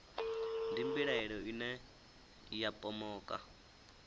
ndi mbilahelo ine ya pomoka